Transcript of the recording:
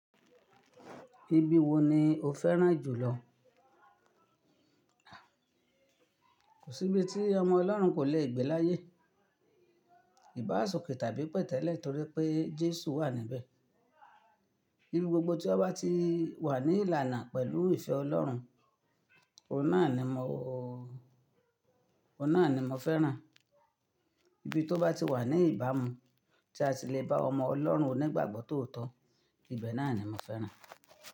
Ibi wo ni o fẹ́ràn jùlọ? Kò sí ibi tí ọmọ Ọlọ́run kò lè gbé láyé, ìbáṣọ̀kẹ́ tàbí pẹ̀tẹ́lẹ̀ torí pé Jésù wà níbẹ̀. Ibi gbogbo tí a bá ti wà ní ìlànà pẹ̀lú ìfẹ́ Ọlọ́run, ọ̀ na ni mo, ọ̀ na ni mo fẹ́ràn. Ibi tó bá ti wà ní ìbámu tí a sì le bá ọmọ Ọlọ́run onígbàgbọ́ tòótọ́, ibẹ̀ náà ni mo fẹ́ràn.